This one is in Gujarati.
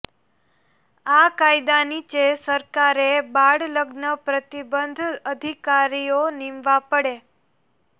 આ કાયદા નીચે સરકારે બાળલગ્ન પ્રતિબંધ અધિકારીઓ નિમવા પડે